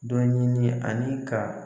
Dɔ ɲini ani ka